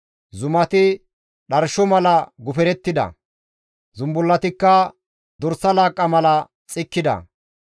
Zumati dharsho mala guferettida; zumbullatikka dorsa laaqqa mala xikkida.